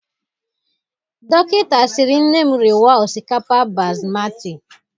Dokịnta siri nne m riwa osikapa Basmatị.